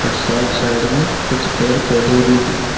और side side में कुछ पेड़ पौधे भी हैं।